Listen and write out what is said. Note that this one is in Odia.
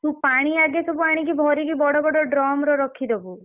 ତୁ ପାଣି ଆଗେ ଆଣିକି ସବୁ ଭରିକି ବଡ ବଡ drum ରେ ରଖିଦବୁ।